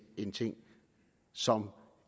en ting som